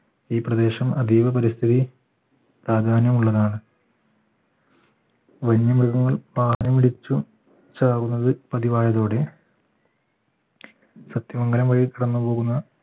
ഈ പ്രദേശം അതീവ പരിസ്ഥിതി പ്രാധാന്യമുള്ളതാണ് വന്യമൃഗങ്ങൾ പാറ പിടിച്ചു പതിവായതോടെ സത്യമംഗലം വഴി കടന്നു പോകുന്ന